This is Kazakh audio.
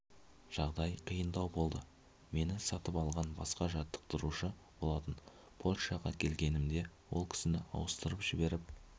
жағдай қиындау болды мені сатып алған басқа жаттықтырушы болатын польшаға келгенімде ол кісіні ауыстырып жіберіп